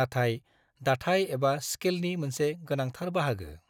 नाथाय दाथाय एबा स्केलनि मोनसे गोनांथार बाहागो।